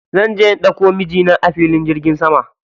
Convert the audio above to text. Zanje na ɗauko mijina a filin jirgin sama.